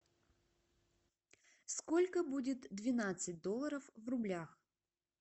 сколько будет двенадцать долларов в рублях